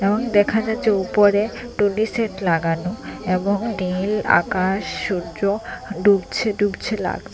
এবং দেখা যাচ্ছে উপরে টুনি সেট লাগানো এবং নীল আকাশ সূর্য ডুবছে ডুবছে লাগছে।